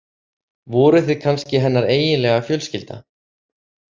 Voruð þið kannski hennar eiginlega fjölskylda?